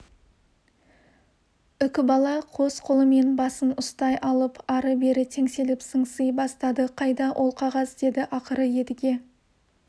үкібала қос қолымен басын ұстай алып ары-бері теңселіп сыңси бастады қайда ол қағаз деді ақыры едіге